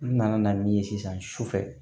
N nana na min ye sisan sufɛ